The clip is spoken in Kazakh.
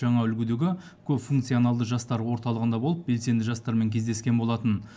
жаңа үлгідегі көпфункционалды жастар орталығында болып белсенді жастармен кездескен болатын